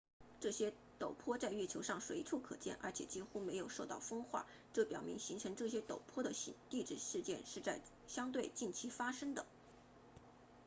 这些陡坡在月球上随处可见而且几乎没有受到风化这表明形成这些陡坡的地质事件是在相对近期发生的